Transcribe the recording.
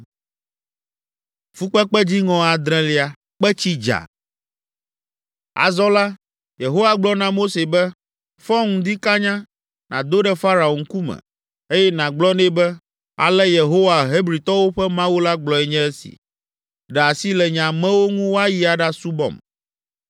Azɔ la, Yehowa gblɔ na Mose be, “Fɔ ŋdi kanya, nàdo ɖe Farao ŋkume, eye nàgblɔ nɛ be, ‘Ale Yehowa, Hebritɔwo ƒe Mawu la gblɔe nye si, Ɖe asi le nye amewo ŋu woayi aɖasubɔm.